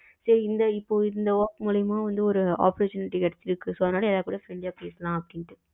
இந்த இப்போ இந்த work மூளியம்மா ஒரு opportunity கிடச்சிருக்கு so எல்லாருக்குடையும் friendly அ பேசலாம் அப்படின்னுட்டு